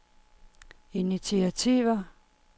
initiativer